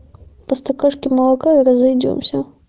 просто крышки молока и разойдёмся